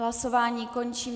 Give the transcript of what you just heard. Hlasování končím.